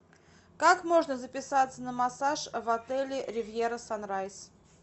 как можно записаться на массаж в отеле ривьера санрайз